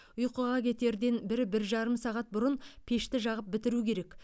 ұйқыға кетерден бір бір жарым сағат бұрын пешті жағып бітіру керек